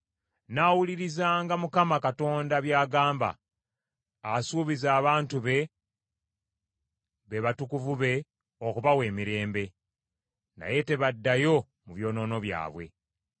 Nnaawulirizanga Mukama Katonda by’agamba; asuubiza abantu be, be batukuvu be, okubawa emirembe; naye tebaddayo mu byonoono byabwe.